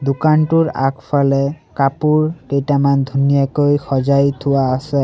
দোকানটোৰ আগফালে কাপোৰ কেইটামান ধুনীয়াকৈ সজাই থোৱা আছে।